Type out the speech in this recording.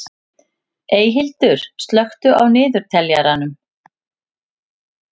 Eyhildur, slökktu á niðurteljaranum.